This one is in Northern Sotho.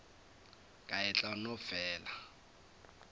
ka e tla no fela